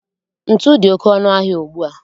Ntu dị oké ọnụ ahịa ugbu a